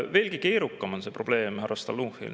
Veelgi keerukam on see probleem, härra Stalnuhhin.